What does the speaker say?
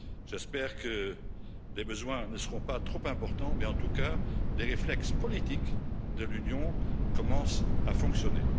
J'espère que les besoins ne seront pas trop importants, mais en tout cas les réflexes politiques de l'Union commencent à fonctionner.